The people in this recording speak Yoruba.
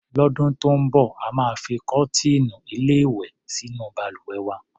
Lọ́dún tó ń bọ̀, a máa fi kọ́tíìnù-ilé-ìwè sínú balùwẹ̀ wa.